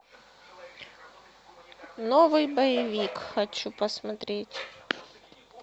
новый боевик хочу посмотреть